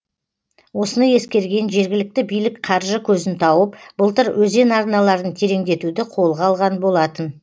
осыны ескерген жергілікті билік қаржы көзін тауып былтыр өзен арналарын тереңдетуді қолға алған болатын